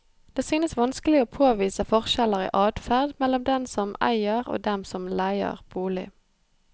Det synes vanskelig å påvise forskjeller i adferd mellom dem som eier og dem som leier bolig.